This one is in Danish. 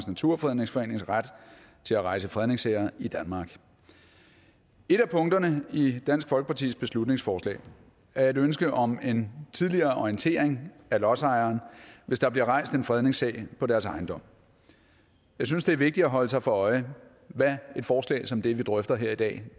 naturfredningsforenings ret til at rejse fredningssager i danmark et af punkterne i dansk folkepartis beslutningsforslag er et ønske om en tidligere orientering af lodsejeren hvis der bliver rejst en fredningssag på deres ejendom jeg synes det er vigtigt at holde sig for øje hvad et forslag som det vi drøfter her i dag